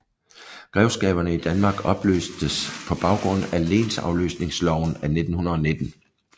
Grevskaberne i Danmark opløstes på baggrund af lensafløsningsloven af 1919